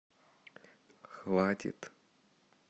хватит